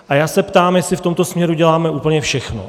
A já se ptám, jestli v tomto směru děláme úplně všechno.